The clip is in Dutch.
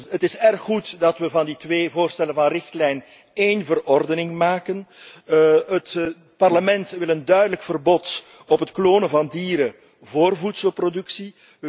Het is heel goed dat wij van die twee voorstellen voor een richtlijn één verordening maken. Het Parlement wil een duidelijk verbod op het klonen van dieren voor voedselproductie.